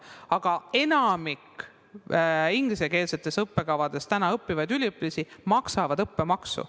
Aga enamik ingliskeelsetel õppekavadel õppivaid üliõpilasi maksab õppemaksu.